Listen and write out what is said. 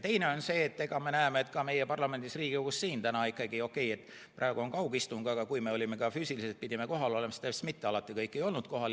Teine võimalus on see, et me näeme, et ka meil Riigikogus, okei, praegu on kaugistung, aga kui me pidime füüsiliselt kohal olema, siis mitte alati kõik ei olnud kohal.